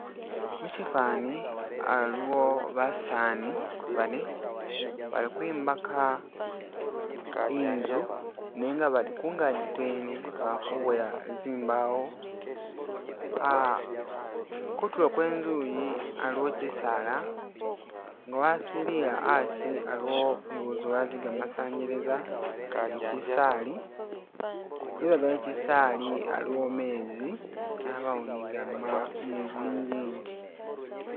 Muchifani haliwo basani bane bali kwimbaka inzu nenga bali kungagi kwene bali kuboya zimbawo kutulo kwenzuyi haliwo chisaala nga wasilile hasi haliwo zi wire zega masanyalaza ni chisaali lubega lwe chisaali haliwo meezi habawo ni zinjinji.